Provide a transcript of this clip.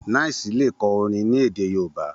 9ice lè kọ orin ní èdè yoòbá